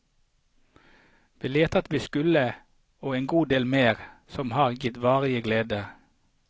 Vi lærte alt vi skulle, og en god del mer, som har gitt varige gleder.